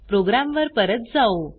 प्रोग्रॅमवर परत जाऊ